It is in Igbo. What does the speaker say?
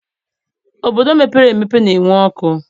Obodo mepere emepe na-enwe ọkụ